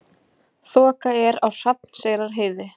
Þoka er á Hrafnseyrarheiði